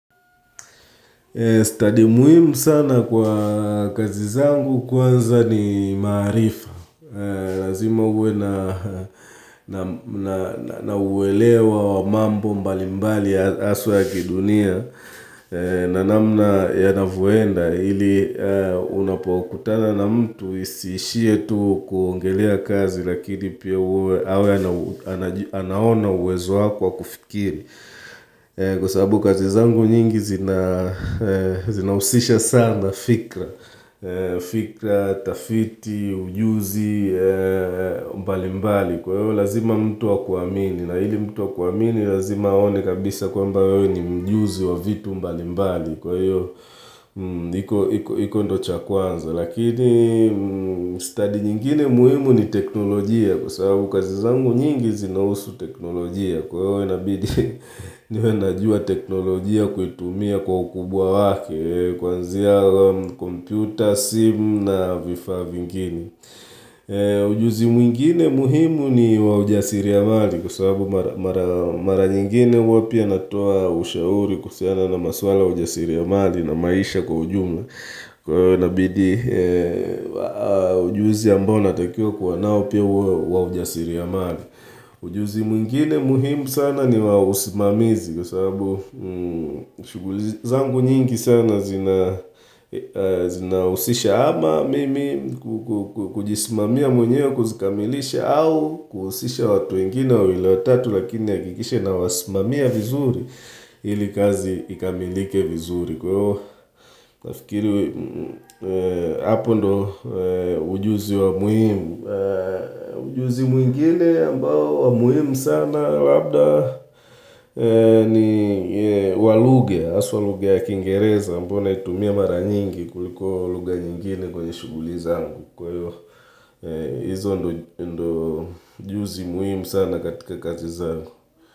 Study muhimu sana kwa kazi zangu kwanza ni maarifa. Lazima uwe na uwelewa wa mambo mbali mbali haswa ya kidunia. Na namna yanavyoenda ili unapokutana na mtu isiishie tu kuongelea kazi. Lakini pia uwe anaona uwezo wako ka kufikiri. Kwa sababu kazi zangu nyingi zina zina husisha sana fikra fikra, tafiti, ujuzi, mbali mbali Kwa hivyo lazima mtu akuamini na ili mtu akuamini lazima aone kabisa kwamba wewe ni mjuzi wa vitu mbali mbali Kwa hiyo, iko ndio cha kwanza Lakini, study nyingine muhimu ni teknolojia Kwa sababu kazi zangu nyingi zinahusu teknolojia Kwa hivyo inabidi niwe najua teknolojia kuitumia kwa ukubwa wake Kwanzia computer, simu na vifaa vingine ujuzi mwingine muhimu ni wa ujasiriamali Kwa sababu mara nyingine huwa pia natoa ushauri kuhusiana na maswala ujasiriamali na maisha kwa ujumla Kwa hiyo nabidi ujuzi ambao natakiwa kuwa nao pia uwe wa ujasiriamali ujuzi mwingine muhimu sana ni wa usimamizi kwa sababu shughuli zangu nyingi sana zina zina husisha ama mimi kujisimamia mwenyewe kuzikamilisha au kuhusisha watu wengine wawili watatu lakini nihakikishe ninawasimamia vizuri ili kazi ikamilike vizuri. Kwa hivyo, nafikiri hapo ndio ujuzi wa muhimu. Ujuzi mwingine ambao wa muhimu sana labda ni wa lugha haswa lugha ya Kingereza. Ambayo naitumia mara nyingi kuliko lugha nyingine kwenye shughuli zangu. Kwa hivyo, hizo ndio ujuzi muhimu sana katika kazi zangu.